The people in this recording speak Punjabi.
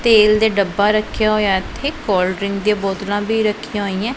ਤੇਲ ਦੇ ਡੱਬਾ ਰੱਖਿਆ ਹੋਇਆ ਇੱਥੇ ਕੋਲਡ ਡਰਿੰਕ ਦੀਆਂ ਬੋਤਲਾਂ ਵੀ ਰੱਖੀਆਂ ਹੋਈਆਂ।